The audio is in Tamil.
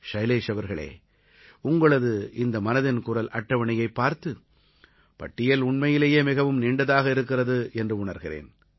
ஷைலேஷ் அவர்களே உங்களது இந்த மனதின் குரல் அட்டவணையைப் பார்த்து பட்டியல் உண்மையிலேயே மிகவும் நீண்டதாக இருக்கிறது என்று உணர்கிறேன்